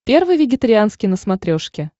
первый вегетарианский на смотрешке